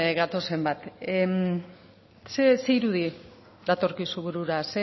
gatozen bat zein irudi datorkizun burura